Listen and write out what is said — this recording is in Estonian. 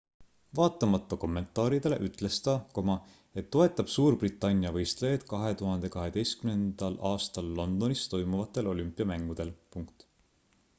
vaatamata kommentaaridele ütles ta et toetab suurbritannia võistlejaid 2012 aastal londonis toimuvatel olümpiamängudel